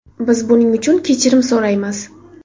Biz buning uchun kechirim so‘raymiz.